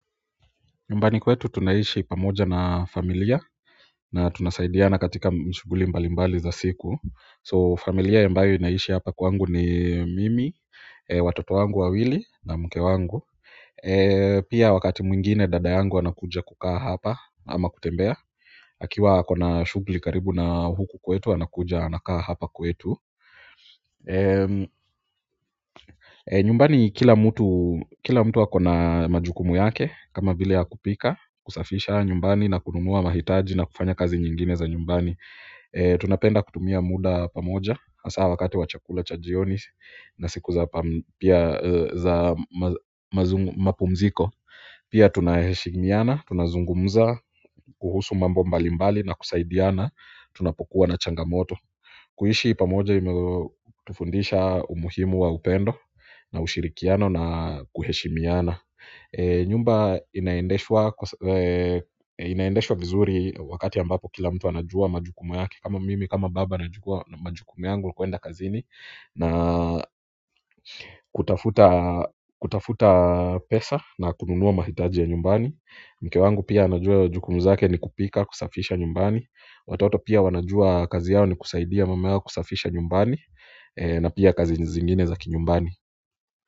Nyumbani kwetu tunaishi pamoja na familia na tunasaidiana katika shughuli mbali mbali za siku. So familia ambayo inaishi hapa kwangu ni mimi, watoto wangu wawili na mke wangu pia wakati mwingine dada yangu anakuja kukaa hapa ama kutembea akiwa ako na shughuli karibu na huku kwetu anakuja anakaa hapa kwetu nyumbani kila mtu akona majukumu yake kama vile ya kupika, kusafisha nyumbani na kununua mahitaji na kufanya kazi nyingine za nyumbani tunapenda kutumia muda pamoja hasa wakati wa chakula cha jioni na siku za mapumziko pia tunaheshimiana, tunazungumza kuhusu mambo mbali mbali na kusaidiana tunapokuwa na changamoto. Kuishi pamoja imetufundisha umuhimu wa upendo na ushirikiano na kuheshimiana nyumba inaendeshwa vizuri wakati ambapo kila mtu anajua majukumu yake kama mimi kama baba nachukua majukumu yangu kuenda kazini na kutafuta pesa na kununua mahitaji ya nyumbani mke wangu pia anajua jukumu zake ni kupika kusafisha nyumbani watoto pia wanajua kazi yao ni kusaidia mama yao kusafisha nyumbani na pia kazi zingine za kinyumbani.